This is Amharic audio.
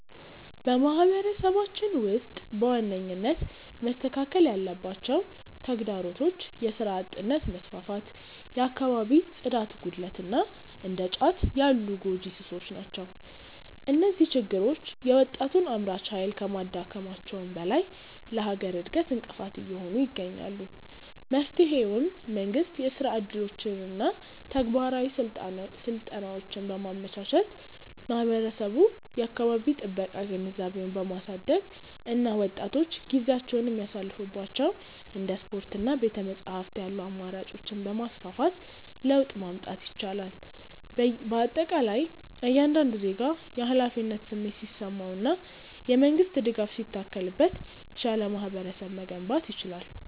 በማህበረሰባችን ውስጥ በዋነኝነት መስተካከል ያለባቸው ተግዳሮቶች የሥራ አጥነት መስፋፋት፣ የአካባቢ ጽዳት ጉድለት እና እንደ ጫት ያሉ ጎጂ ሱሶች ናቸው። እነዚህ ችግሮች የወጣቱን አምራች ኃይል ከማዳከማቸውም በላይ ለሀገር እድገት እንቅፋት እየሆኑ ይገኛሉ። መፍትሄውም መንግስት የሥራ ዕድሎችንና ተግባራዊ ስልጠናዎችን በማመቻቸት፣ ህብረተሰቡ የአካባቢ ጥበቃ ግንዛቤውን በማሳደግ እና ወጣቶች ጊዜያቸውን የሚያሳልፉባቸው እንደ ስፖርትና ቤተ-መጻሕፍት ያሉ አማራጮችን በማስፋፋት ለውጥ ማምጣት ይቻላል። በአጠቃላይ እያንዳንዱ ዜጋ የኃላፊነት ስሜት ሲሰማውና የመንግስት ድጋፍ ሲታከልበት የተሻለ ማህበረሰብ መገንባት ይቻላል።